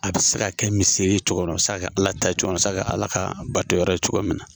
A bɛ se ka kɛ miseli ye o cogorɔ, a be se ka kɛ ala ka batoyɔrɔ ye cogo min na.